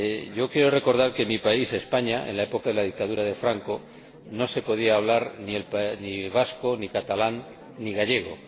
Yo creo recordar que en mi país, España, en la época de la dictadura de Franco, no se podía hablar ni vasco, ni catalán, ni gallego.